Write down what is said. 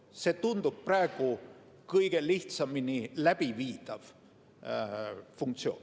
See tundub praegu olevat kõige lihtsamini läbiviidav funktsioon.